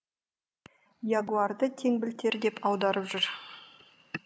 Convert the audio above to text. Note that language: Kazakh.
ягуарды теңбілтер деп аударып жүр